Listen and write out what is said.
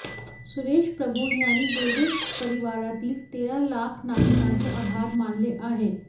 सुरेश प्रभु यांनी रेल्वे परिवारातील तेरा लाख नागरिकांचे आभार मानले आहे